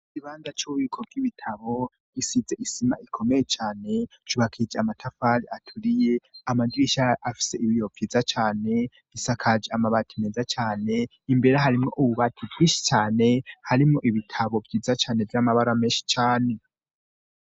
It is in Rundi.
Igibanza c'ubiko bw'ibitabo gisize isima ikomeye cane cubakije amatafali aturiye amadirisha afise ibiyo vyiza cane isakaje amabati meza cane imbere harimwo ububati bwishi cane harimo ibitabo vyiza cane vy'amabara menshi cane.